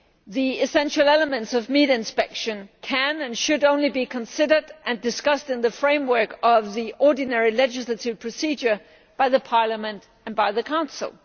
The essential elements of meat inspection can and should only be considered and discussed in the framework of the ordinary legislative procedure by the Parliament and by the Council.